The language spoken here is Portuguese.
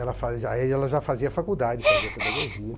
Ela fazia, aí ela já fazia faculdade, fazia pedagogia.